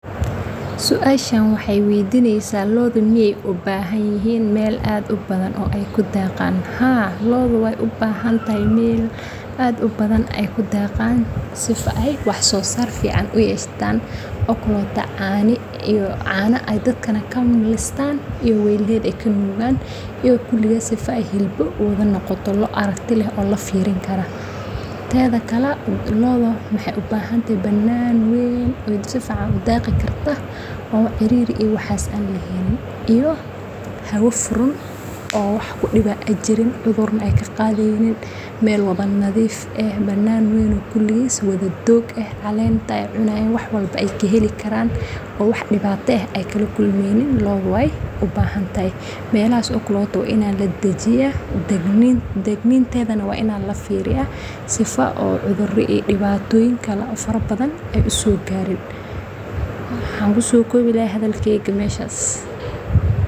lo'da miyee u baahan yihiin meel aad u badan oo ay ku daaqaan